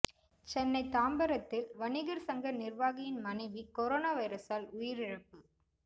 சென்னை தாம்பரத்தில் வணிகர் சங்க நிர்வாகியின் மனைவி கொரோனா வைரசால் உயிரிழப்பு